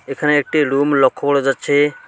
এখানে একটি লুম লক্ষ্য করা যাচ্ছে।